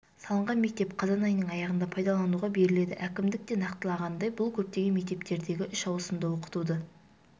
салынған мектеп қазан айының аяғында пайдалануға беріледі әкімдікте нақтылағандай бұл көптеген мектептердегі үш ауысымды оқытуды